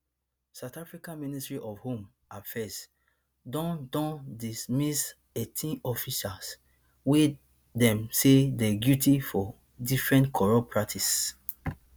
south africa ministry of home affairs don don dismiss eighteen officials wey dem say dey guilty for different corrupt practices